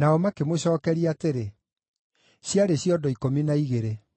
Nao makĩmũcookeria atĩrĩ, “Ciarĩ ciondo ikũmi na igĩrĩ.”